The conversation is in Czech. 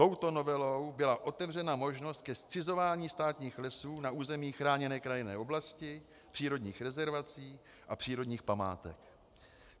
Touto novelou byla otevřena možnost ke zcizování státních lesů na území chráněné krajinné oblasti, přírodních rezervací a přírodních památek.